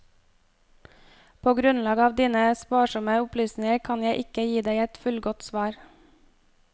På grunnlag av dine sparsomme opplysninger kan jeg ikke gi deg et fullgodt svar.